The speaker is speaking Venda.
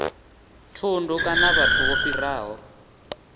thundu kana vhathu vho fhiraho